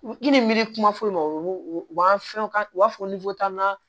I ni miiri kuma foyi ma o b'an fɛn u b'a fɔ